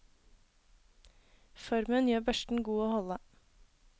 Formen gjør børsten god å holde.